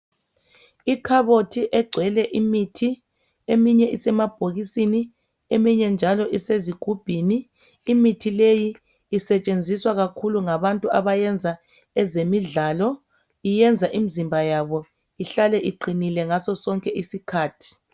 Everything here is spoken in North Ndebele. Ikhabothi egcwele imithi eminye isemabhokisini eminye njalo isezigubhini imithi leyi isetshenziswa kakhulu ngabantu abayenza ezemidlalo iyenza imzimba yabo ihlale iqinile ngaso sonke isikhathi.